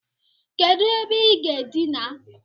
Kedu ebe I ga-adina?